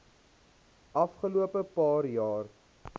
afgelope paar jaar